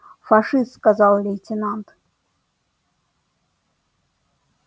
фашист сказал лейтенант